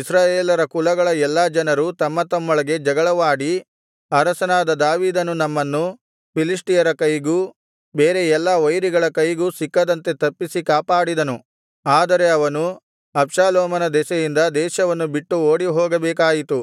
ಇಸ್ರಾಯೇಲರ ಕುಲಗಳ ಎಲ್ಲಾ ಜನರು ತಮ್ಮತಮ್ಮೊಳಗೆ ಜಗಳವಾಡಿ ಅರಸನಾದ ದಾವೀದನು ನಮ್ಮನ್ನು ಫಿಲಿಷ್ಟಿಯರ ಕೈಗೂ ಬೇರೆ ಎಲ್ಲಾ ವೈರಿಗಳ ಕೈಗೂ ಸಿಕ್ಕದಂತೆ ತಪ್ಪಿಸಿ ಕಾಪಾಡಿದನು ಆದರೆ ಅವನು ಅಬ್ಷಾಲೋಮನ ದೆಸೆಯಿಂದ ದೇಶವನ್ನು ಬಿಟ್ಟು ಓಡಿಹೋಗಬೇಕಾಯಿತು